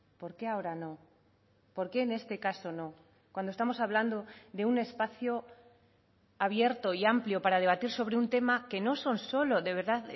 por qué ahora no por qué en este caso no cuando estamos hablando de un espacio abierto y amplio para debatir sobre un tema que no son solo de verdad